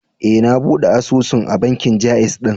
E, na buɗe asusun a bankin Ja'iz ɗin.